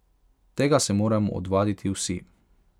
Tega se moramo odvaditi vsi.